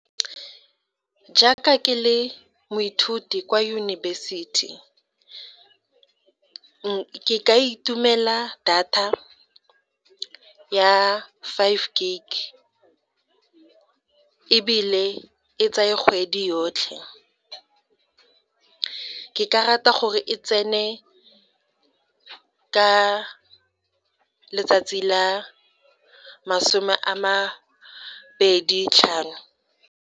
Jaaka ke le moithuti kwa yunibesithi ke ka itumela data ya five gig ebile e tsaya kgwedi yotlhe, ke ka rata gore e tsene ka letsatsi la masome a mabedi tlhano.